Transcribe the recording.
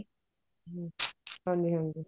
ਹਾਂਜੀ ਹਾਂਜੀ